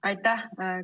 Aitäh!